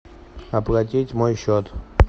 оплатить мой счет